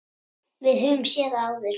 Við höfum séð það áður.